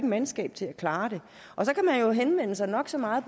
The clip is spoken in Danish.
mandskab til at klare det og så kan man jo henvende sig nok så mange